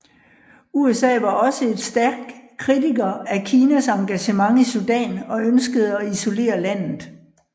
USA var også et stærk kritiker af Kinas engagement i Sudan og ønskede at isolere landet